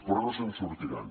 però no se’n sortiran